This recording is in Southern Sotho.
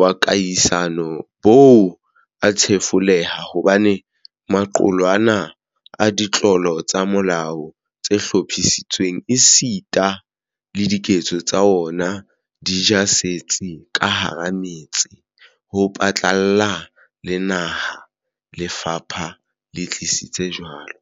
wa kahisano bo a thefuleha hobane maqulwana a ditlolo tsa molao tse hlophisitsweng esita le diketso tsa ona, di ja setsi ka hara metse ho phatlalla le naha, lefapha le tiisitse jwalo.